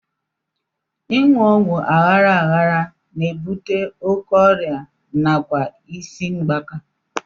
Ịṅụ ọgwụ aghara aghara na-ebute oké ọrịa nakwa isi mgbaaka